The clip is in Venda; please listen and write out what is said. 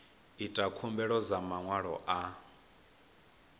ita khumbelo dza maṅwalo a